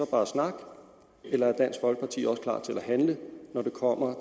bare snak eller er dansk folkeparti også klar til at handle når det kommer